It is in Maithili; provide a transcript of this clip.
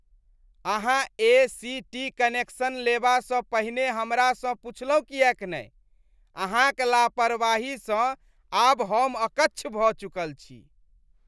अहाँ ए.सी.टी कनेक्शन लेबासँ पहिने हमरासँ पुछलहुँ किएक नहि ? अहाँक लापरवाहिसँ आब हम अकच्छ भऽ चुकल छी।